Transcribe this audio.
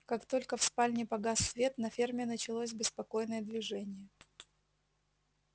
как только в спальне погас свет на ферме началось беспокойное движение